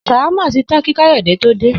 S̩àwámà ti tán kí Káyò̩dé tó dé